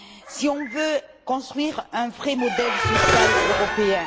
Si on veut construire un vrai modèle social européen.